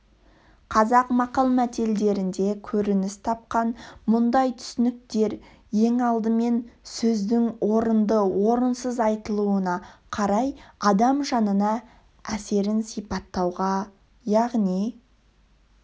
қазақ мақал-мәтелдерінде көрініс тапқан мұндай түсініктер ең алдымен сөздің орынды орыныз айтылуына қарай адам жанына әсерін сипаттауға яғни